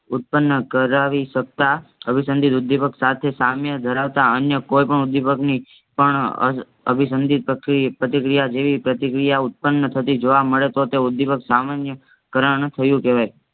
ઉત્પન્ન કરાવી સકતા અનઅભિસંધિત ઉદ્દીપકસાથે સામ્ય ધરાવતા અન્ય કોઈપણ ઉદ્દીપકની પણ અ અભિસંધિત પ્રક પ્રતિક્રિયા જેવી પ્રતિક્રિયા ઉત્પન્ન થતી જોવા મળે તો તે ઉદ્દીપક સામાનિકરણ થયું કેવાય